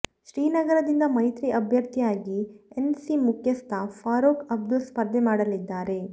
ಶ್ರೀನಗರದಿಂದ ಮೈತ್ರಿ ಅಭ್ಯರ್ಥಿಯಾಗಿ ಎನ್ಸಿ ಮುಖ್ಯಸ್ಥ ಫಾರೂಕ್ ಅಬ್ದುಲ್ಲಾ ಸ್ಪರ್ಧೆ ಮಾಡಲಿದ್ದಾರೆ